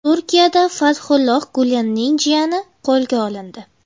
Turkiyada Fathulloh Gulenning jiyani qo‘lga olindi.